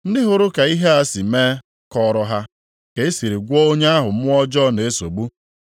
Ndị hụrụ ka ihe a si mee kọọrọ ha ka e siri gwọọ onye ahụ mmụọ ọjọọ na-esogbu.